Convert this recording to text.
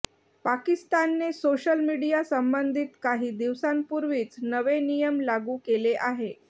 पाकिस्तानने सोशल मीडियासंबंधित काही दिवसांपूर्वीच नवे नियम लागू केले आहे